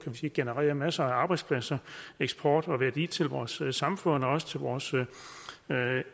genererer masser af arbejdspladser eksport og værdi til vores samfund også til vores